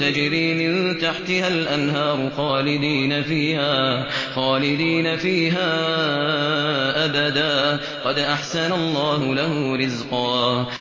تَجْرِي مِن تَحْتِهَا الْأَنْهَارُ خَالِدِينَ فِيهَا أَبَدًا ۖ قَدْ أَحْسَنَ اللَّهُ لَهُ رِزْقًا